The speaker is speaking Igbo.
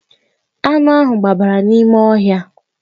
Anụ ahụ gbabara n'ime ọhịa